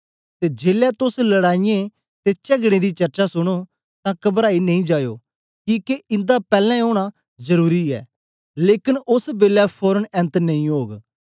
ते जेलै तोस लड़ाईयें ते चगड़े दी चर्चा सुनो तां कबराई नेई जायो किके इन्दा पैलैं ओना जरुरी ऐ लेकन ओस बेलै फोरन ऐन्त नेई ओग